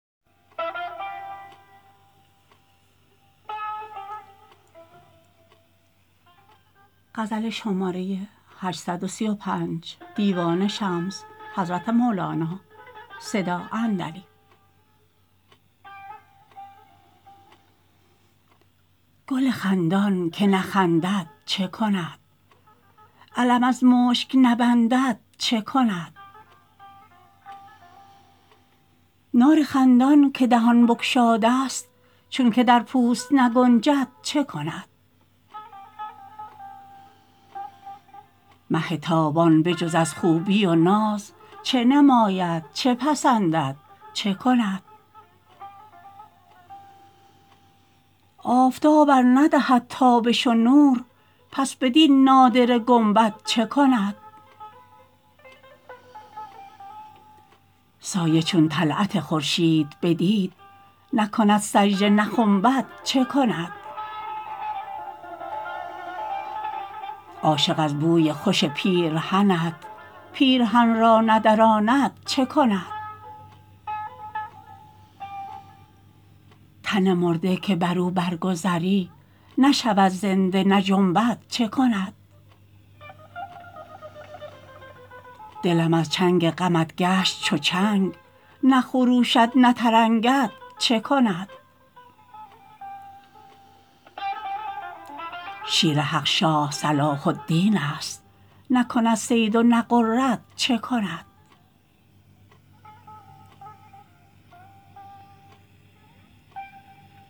گل خندان که نخندد چه کند علم از مشک نبندد چه کند نار خندان که دهان بگشادست چونک در پوست نگنجد چه کند مه تابان به جز از خوبی و ناز چه نماید چه پسندد چه کند آفتاب ار ندهد تابش و نور پس بدین نادره گنبد چه کند سایه چون طلعت خورشید بدید نکند سجده نخنبد چه کند عاشق از بوی خوش پیرهنت پیرهن را ندراند چه کند تن مرده که بر او برگذری نشود زنده نجنبد چه کند دلم از چنگ غمت گشت چو چنگ نخروشد نترنگد چه کند شیر حق شاه صلاح الدینست نکند صید و نغرد چه کند